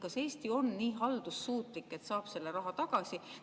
Kas Eesti on nii haldussuutlik, et saab selle raha tagasi?